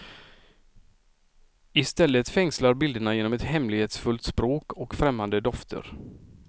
Istället fängslar bilderna genom ett hemlighetsfullt språk och främmande dofter.